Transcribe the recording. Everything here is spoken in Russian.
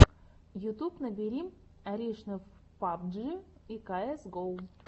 ютюб набери аришнев пабджи и каэс гоу